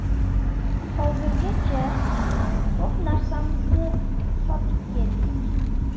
Hozirgacha ko‘p narsamizni sotib keldik.